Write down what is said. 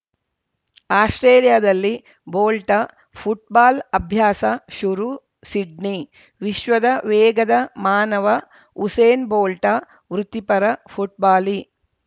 ಆಸ್ಪ್ರೇಲಿಯಾದಲ್ಲಿ Bolt football ಅಭ್ಯಾಸ ಶುರು Sydney ವಿಶ್ವದ ವೇಗದ ಮಾನವ ಉಸೇನ್‌ ಬೋಲ್ಟ ವೃತ್ತಿಪರ ಫುಟ್ಬಾಲಿ